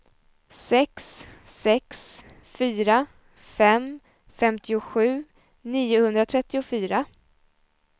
sex sex fyra fem femtiosju niohundratrettiofyra